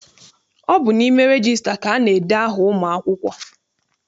Ọ bụ n'ime regista ka ana-ede aha ụmụ akwụkwọ.